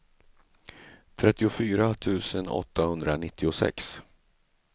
trettiofyra tusen åttahundranittiosex